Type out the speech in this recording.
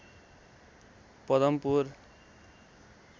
Padampur